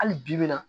Hali bibi in na